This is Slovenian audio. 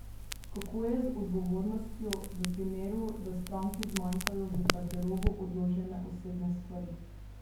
Kako je z odgovornostjo, v primeru, da stranki zmanjkajo v garderobo odložene osebne stvari?